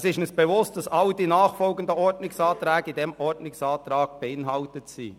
Es ist uns bewusst, dass alle nachfolgenden Ordnungsanträge in diesem Ordnungsantrag enthalten sind.